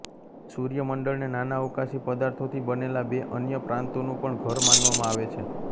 સૂર્યમંડળને નાના અવકાશી પદાર્થોથી બનેલા બે અન્ય પ્રાંતોનું પણ ઘર માનવામાં આવે છે